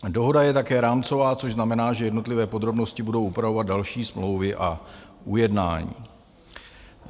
Dohoda je také rámcová, což znamená, že jednotlivé podrobnosti budou upravovat další smlouvy a ujednání.